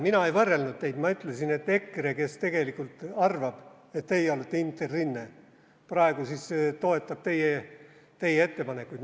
Mina ei võrrelnud teid, ma ütlesin, et EKRE, kes tegelikult arvab, et teie olete Interrinne, praegu toetab teie ettepanekuid.